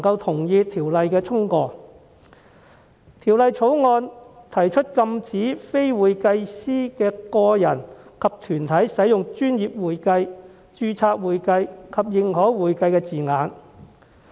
《條例草案》提出禁止非會計師的個人及團體使用"專業會計"、"註冊會計"及"認可會計"等稱謂。